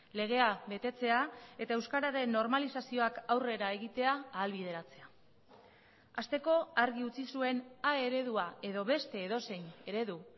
legea betetzea eta euskararen normalizazioak aurrera egitea ahalbideratzea hasteko argi utzi zuen a eredua edo beste edozein eredu